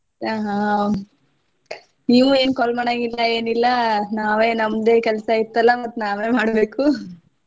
ಆ ಹಾ ನೀವು ಏನ್ call ಮಾಡಂಗಿಲ್ಲ ಏನಿಲ್ಲಾ ನಾವೆ ನಮ್ದು ಕೆಲ್ಸ ಇತ್ತಲ್ಲ ಮತ್ತ್ ನಾವೆ ಮಾಡ್ಬೇಕು .